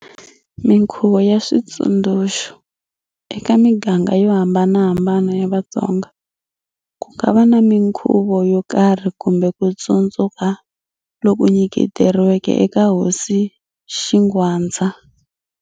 Minkhuvo na Switsundzuxo-Eka miganga yo hambanahambana ya Vatsonga, ku nga va na minkhuvo yo karhi kumbe ku tsundzuka loku nyiketeriweke eka Hosi Xingwadza.